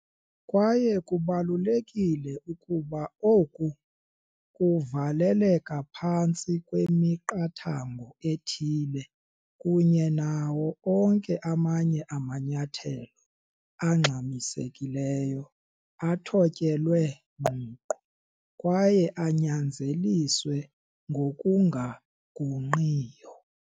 Kwaye kubalulekile ukuba oku kuvaleleka phantsi kwemiqathango ethile kunye nawo onke amanye amanyathelo angxamisekileyo athotyelwe ngqongqo kwaye anyanzeliswe ngokungagungqiyo.